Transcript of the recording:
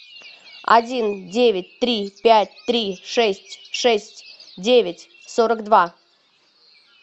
один девять три пять три шесть шесть девять сорок два